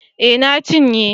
Eh na cinye